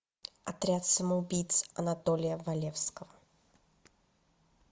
отряд самоубийц анатолия валевского